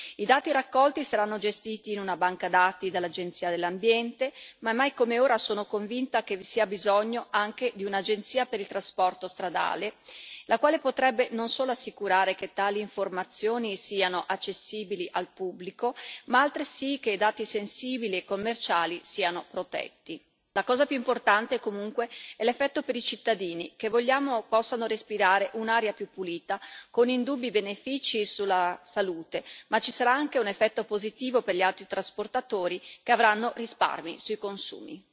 I dati raccolti saranno gestiti in una banca dati dall'Agenzia dell'ambiente, ma mai come ora sono convinta che vi sia bisogno anche di un'agenzia per il trasporto stradale, la quale potrebbe non solo assicurare che tali informazioni siano accessibili al pubblico, ma altresì che dati sensibili e commerciali siano protetti. La cosa più importante, comunque, è l'effetto per i cittadini, che vogliamo possano respirare un'aria più pulita, con indubbi benefici per la salute, ma ci sarà un effetto positivo anche per gli autotrasportatori, che avranno risparmi sui consumi.